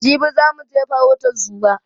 Jibi za muje farautan zuma